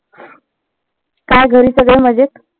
काय घरी सगळ मजेत.